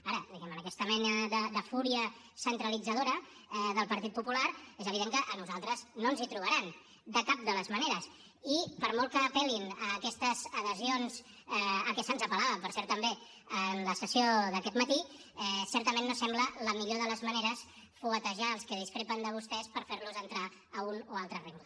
ara diguem ne en aquesta mena de fúria centralitzadora del partit popular és evident que a nosaltres no ens hi trobaran de cap de les maneres i per molt que apel·lin a aquestes adhesions a què se’ns apel·lava per cert també en la sessió d’aquest matí certament no sembla la millor de les maneres fuetejar els que discrepen de vostès per fer los entrar a un o altre rengle